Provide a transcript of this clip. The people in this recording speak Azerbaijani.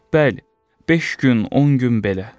Bəli, beş gün, 10 gün belə.